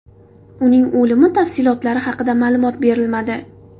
Uning o‘limi tafsilotlari haqida ma’lumot berilmadi.